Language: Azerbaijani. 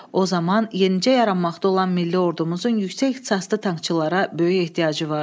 O zaman yenicə yaranmaqda olan milli ordumuzun yüksək ixtisaslı tankçılara böyük ehtiyacı vardı.